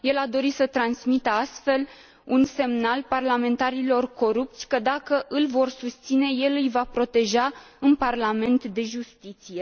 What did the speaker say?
El a dorit să transmită astfel, un semnal parlamentarilor corupți că, dacă îl vor susține, el îi va proteja în Parlament, de justiție.